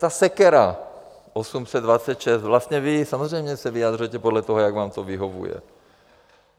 Ta sekera 826, vlastně vy samozřejmě se vyjadřujete podle toho, jak vám to vyhovuje.